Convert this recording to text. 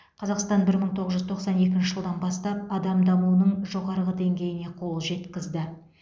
қазақстан бір мың тоғыз жүз тоқсан екінші жылдан бастап адам дамуының жоғарғы деңгейіне қол жеткізді